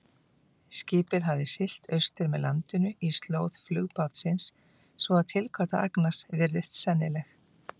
Skipið hafði siglt austur með landinu í slóð flugbátsins, svo að tilgáta Agnars virðist sennileg.